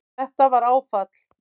Þetta var áfall